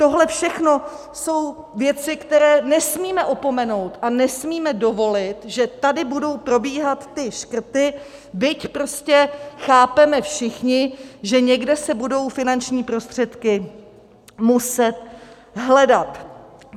Tohle všechno jsou věci, které nesmíme opomenout, a nesmíme dovolit, že tady budou probíhat ty škrty, byť prostě chápeme všichni, že někde se budou finanční prostředky muset hledat.